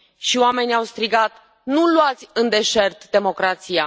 și oamenii au strigat nu luați în deșert democrația!